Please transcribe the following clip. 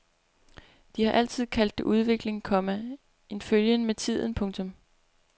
De har altid kaldt det udvikling, komma en følgen med tiden. punktum